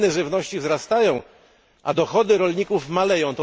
Ceny żywności wzrastają, a dochody rolników maleją.